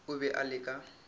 o be o le ka